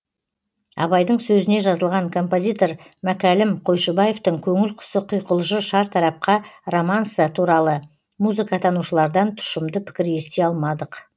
абайдың сөзіне жазылған композитор мәкәлім қойшыбаевтың көңіл құсы құйқылжыр шартарапқа романсы туралы музыкатанушылардан тұщымды пікір ести алмадық